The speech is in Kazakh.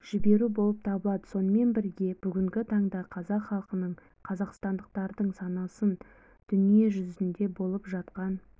жіберу болып табылады сонымен бірге бүгінгі таңда қазақ халқының қазақстандықтардың санасын дүние жүзінде болып жатқан